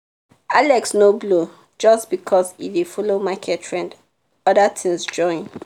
alex no blow just because e dey follow market trend — other things join.